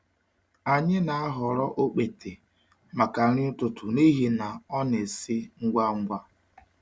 Anyị na-ahọrọ okpete maka nri ụtụtụ n’ihi na ọ na-esi ngwa ngwa.